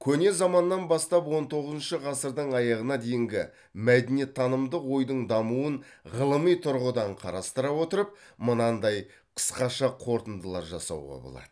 көне заманнан бастап он тоғызыншы ғасырдың аяғына дейінгі мәдениеттанымдық ойдың дамуын ғылыми тұрғыдан қарастыра отырып мынандай қысқаша қорытындылар жасауға болады